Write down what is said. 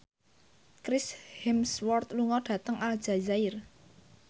Chris Hemsworth lunga dhateng Aljazair